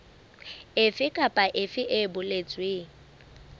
efe kapa efe e boletsweng